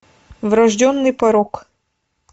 врожденный порок